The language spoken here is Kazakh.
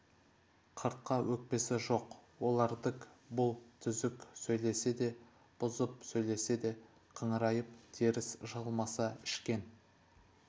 қыртқа өкпесі жоқ олардык бұл түзік сөйлесе де бұзып сөйлесе де қыңырайып теріс жығылмаса ішкен